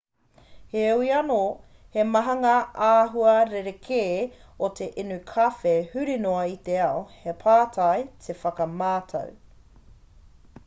heoi anō he maha ngā āhua rerekē o te inu kawhe huri noa i te ao he pai te whakamātau